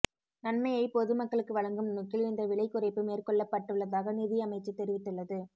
நன்மையை பொது மக்களுக்கு வழங்கும் நோக்கில் இந்த விலை குறைப்பு மேற்கொள்ளப்பட்டுள்ளதாக நிதியமைச்சு தெரிவித்துள்ளது